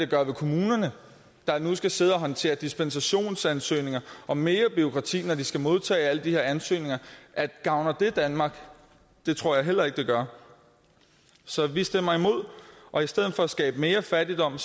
gøre ved kommunerne der nu skal sidde og håndtere dispensationsansøgninger og mere bureaukrati når de skal modtage alle de her ansøgninger gavner det danmark det tror jeg heller ikke det gør så vi stemmer imod og i stedet for at skabe mere fattigdom